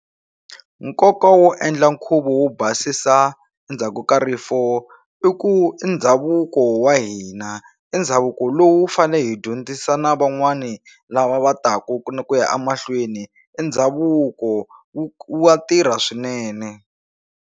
Nkoka wo endla nkhuvo wo basisa endzhaku ka rifo i ku i ndhavuko wa hina i ndhavuko lowu fanele hi dyondzisa na van'wani lava va taku ni ku ya a mahlweni i ndhavuko wu wa tirha swinene.